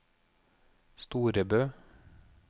Storebø